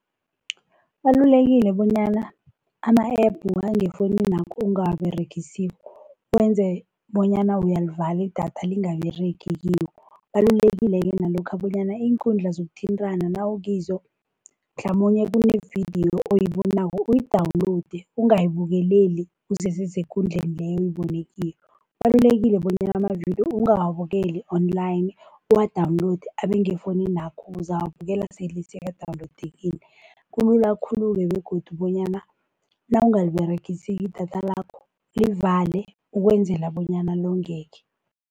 Kubalulekile bonyana ama-App wangefonini yakho ongawaberegisiko wenze bonyana uyalivala i-datha lingaberegi kiwo. Kubalulekile-ke nalokha bonyana iinkundla zokuthintana nawukizo, mhlamunye kune vidiyo oyibonako uyi-download ungayibukeleli usese sekundleni leyo oyibone kiyo. Kubalulekile bonyana amavidiyo ungawabukeli-online uwa-download abengefoninakho, uzawabukela sele sekadawunowudekile. Kulula khulu-ke begodu bonyana nawungaliberegisiko i-data lakho livale ukwenzela bonyana longeke.